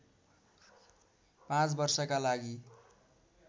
पाँच वर्षका लागि